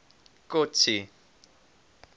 kotsi